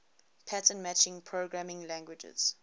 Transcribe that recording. pattern matching programming languages